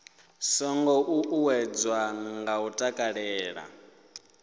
songo ṱuṱuwedzwa nga u takalela